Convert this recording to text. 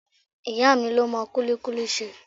Ìyá mi ló mọ kulikuli ṣe.